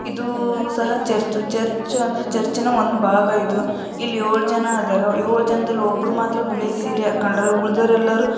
ಇದು ಸಹಾ church ‌ church ಅಂದರೆ ಚರ್ಚ್‌ನ ಒಂದು ಭಾಗ ಇದು ಇಲ್ಲಿ ಏಳು ಜನರು ಇದ್ಧಾರೆ ಏಳು ಜನದಲ್ಲಿ ಒಬ್ಬರು ಮಾತ್ರ ಬಿಳಿ ಸೀರೆ‌ ಹಾಕಿದ್ದಾರೆ. ಉಳಿದವರೆಲ್ಲರೂ--